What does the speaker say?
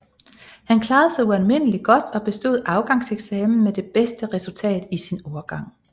Han klarede sig ualmindeligt godt og bestod afgangseksamen med det bedste resultat i sin årgang